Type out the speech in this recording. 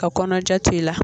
Ka kɔnɔja to i la